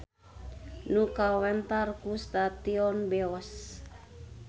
Nu kawentar ku stasiun Beos.